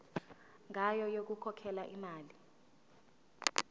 ngayo yokukhokhela imali